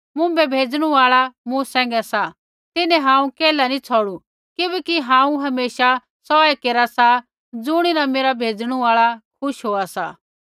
मुँभै भेजणु आल़ा मूँ सैंघै सा तिन्हैं हांऊँ केल्है नी छ़ौड़ु किबैकि हांऊँ हमेशा सौऐ केरा सा ज़ुणीन मेरा भेजणु आल़ा खुश होआ सा